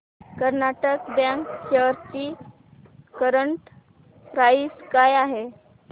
Karnataka bank shares ची current price काय आहे